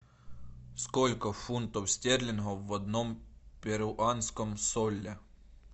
сколько фунтов стерлингов в одном перуанском соле